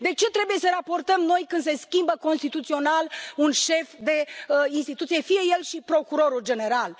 De ce trebuie să raportăm noi când se schimbă constituțional un șef de instituție, fie el și procurorul general?